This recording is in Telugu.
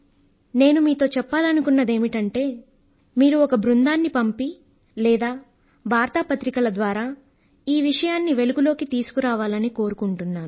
నేను మీతో చెప్పాలనుకున్నదేమిటంటే మీరు ఒక బృందాన్ని పంపి లేదా వార్తాపత్రికల ద్వారా ఈ విషయాన్ని వెలుగులోకి తీసుకురావాలని కోరుకుంటున్నాను